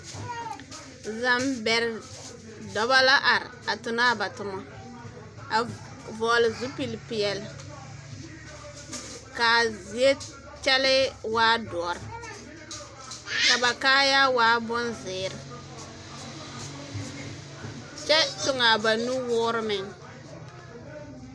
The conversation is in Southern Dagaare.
Zambɛrɛ dɔba la are a tona ba toma a vɔgele zupile peɛle kaa zie kyɛlee waa dɔre ka ba kaayaare waa bonzeere kyɛ tuŋaa ba nu woore meŋ